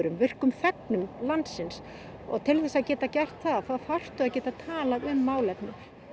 virkum þegnum landsins til þess að geta gert það þá þarftu að geta talað um málefnin